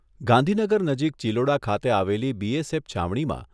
ગાંધીનગર નજીક ચીલોડા ખાતે આવેલી બીએસએફ છાવણીમાં